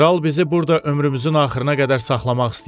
Kral bizi burada ömrümüzün axırına qədər saxlamaq istəyir.